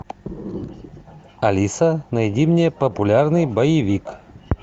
алиса найди мне популярный боевик